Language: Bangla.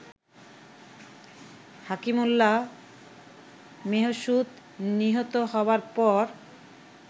হাকিমুল্লাহ মেহসুদ নিহত হবার পর